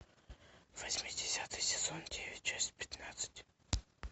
восьмидесятые сезон девять часть пятнадцать